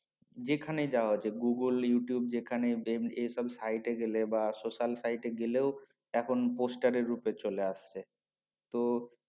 যে খানে যাওয়া হচ্ছে গুগোল ইউটিউব যেখানে জেম এ সব সাইটে গেলে বা social site গেলেও এখন poster এর রুপে চলে আসছে তো